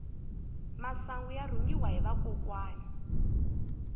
masangu ya rhungiwa hi vakokwani